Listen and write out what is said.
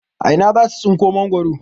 A ina za su tsinko mangwaro?